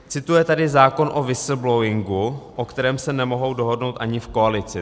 Cituje tady zákon o whistleblowingu, o kterém se nemohou dohodnou ani v koalici.